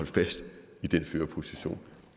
fast i den førerposition